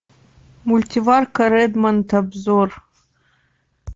мультиварка редмонд обзор